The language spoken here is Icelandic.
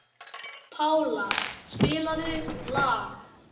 Pála, spilaðu lag.